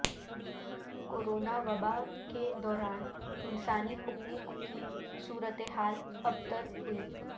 corona وباء کے دوران انسانی حقوق کی صورتحال ابتر ہوئی